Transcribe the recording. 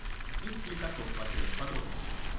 есть ли каток в отеле подробности